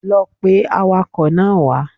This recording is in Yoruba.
Lọ pe awakọ̀ náà wá